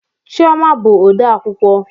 Chioma bụ odeakwụkwọ